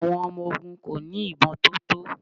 Àwọn ọmọ ogun kò ní ìbọn tó tó.